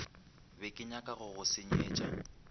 be kenyaka go go senyetša